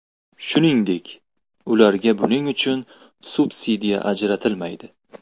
Shuningdek, ularga buning uchun subsidiya ajratilmaydi.